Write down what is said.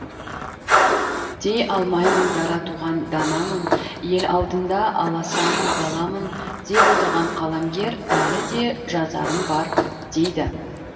дей алмаймын дара туған данамын ел алдында аласамын баламын деп отырған қаламгер әлі де жазарым бар дейді